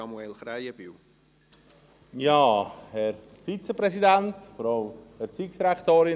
Manchmal verstehe ich es hier drin nicht mehr.